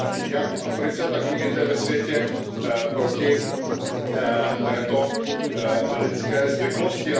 jak v Africe, tak jinde ve světě proti této nelidské zvyklosti.